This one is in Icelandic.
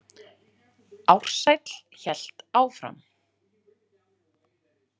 Ársæll hélt áfram.